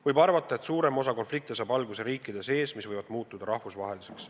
Võib arvata, et suurem osa konflikte saab alguse riikide sees, aga need võivad muutuda rahvusvaheliseks.